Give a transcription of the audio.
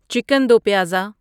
chicken do pyaza